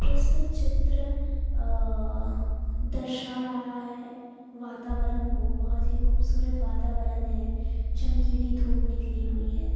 प्रस्तुत चित्र अ दर्शा रहा है वातावरण को बहुत ही खूबसूरत वातावरण है चमकीली धूप निकली हुई है।